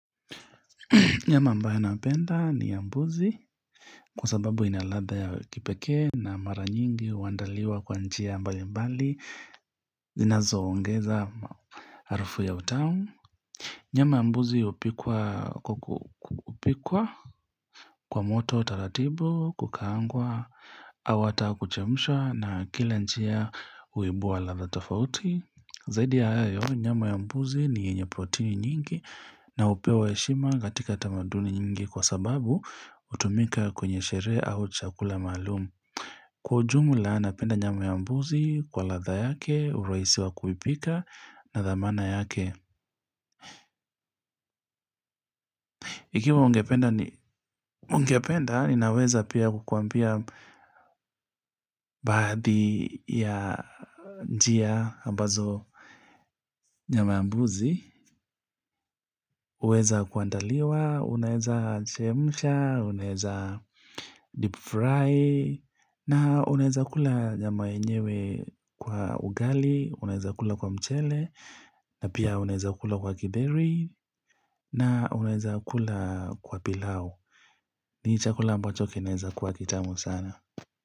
Nyama ambaye napenda ni ya mbuzi kwa sababu ina ladha ya kipekee na mara nyingi huandaliwa kwa njia mbali mbali zinazo ongeza harufu ya utamu. Nyama ya mbuzi hupikwa kwa kupikwa kwa moto taratibu, kukaangwa, au hata kuchemsha na kila njia huibua ladha tofauti. Zaidi ya hayo, nyama ya mbuzi ni yenye protein nyingi na hupewa heshima katika tamaduni nyingi kwa sababu hutumika kwenye sherehe au chakula maalumu. Kwa jumla, napenda nyama ya mbuzi kwa ladha yake, urahisi wa kuipika na dhamana yake. Ikiwa ungependa ninaweza pia kukuambia baadhi ya njia ambazo nyama ya mbuzi, huweza kuandaliwa, unaweza chemsha, unaweza deep fry, na unaweza kula nyama yenyewe kwa ugali, unaweza kula kwa mchele, na pia unaweza kula kwa githeri, na unaweza kula kwa pilau. Ni chakula ambacho kinaweza kwa kitamu sana.